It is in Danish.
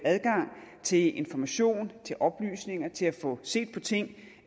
adgang til information til oplysninger til at få set på ting